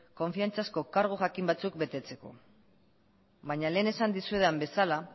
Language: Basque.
konfidantzazko kargu jakin batzuk betetzeko baina lehen esan dizuedan bezala